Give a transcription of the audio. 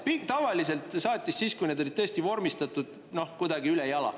Tavaliselt siis, kui need olid tõesti vormistatud kuidagi ülejala.